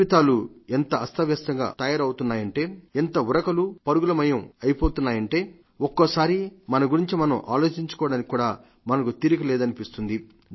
జీవితాలు ఎంత అస్తవ్యస్తంగా తయారవుతున్నాయంతే ఎంత ఉరుకులు పరుగులమయమై పోతున్నాయంటే ఒక్కొక్కసారి మన గురించి మనం ఆలోచించుకోవడానికతి కూడా మనకు తీరిక లేదనిపిస్తుంది